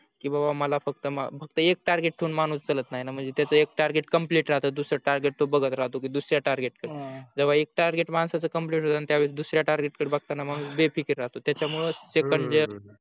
की बाबा मला फक्त एक target ठेवून माणूस चालत नाही णा म्हणजे त्याच एक target complete राहतात दुसर target तो बागत राहतो जे तो की दुसऱ्या target कडे जेव्हा एक target माणसाचं complete होतो णा त्यावेळी दुसऱ्या target कडे बगताना माणूस बेफिकर राहतो त्याच्या मुळे सेकं